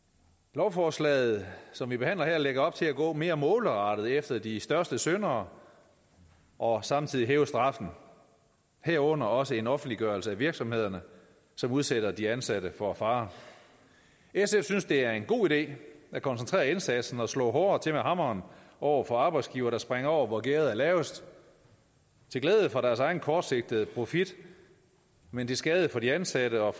lovforslaget som vi behandler her lægger op til at gå mere målrettet efter de største syndere og samtidig hæve straffen herunder også gennem en offentliggørelse af virksomhederne som udsætter de ansatte for fare sf synes det er en god idé at koncentrere indsatsen og slå hårdere til med hammeren over for arbejdsgivere der springer over hvor gærdet er lavest til glæde for deres egen kortsigtede profit men til skade for de ansatte og